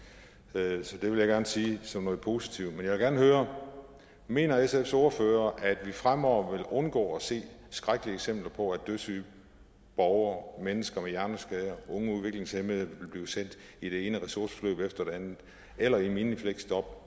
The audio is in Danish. dag så det vil jeg gerne sige som noget positivt men jeg vil gerne høre mener sfs ordfører at vi fremover vil undgå at se skrækkelige eksempler på at dødssyge borgere mennesker med hjerneskade unge udviklingshæmmede bliver sendt i det ene ressourceforløb efter det andet eller i minifleksjob